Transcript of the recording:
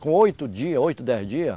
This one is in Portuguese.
Com oito dias, oito, dez dias,